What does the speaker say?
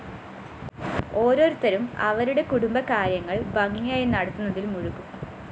ഓരോരുത്തരും അവരുടെ കുടുംബകാര്യങ്ങള്‍ ഭംഗിയായി നടത്തുന്നതില്‍ മുഴുകും